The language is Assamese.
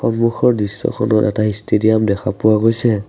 সন্মুখৰ দৃশ্যখনৰ এটা ষ্টেডিয়াম দেখা পোৱা গৈছে।